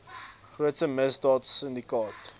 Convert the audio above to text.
grootste misdaad sindikaat